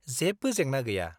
जेबो जेंना गैया।